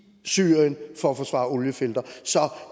syrien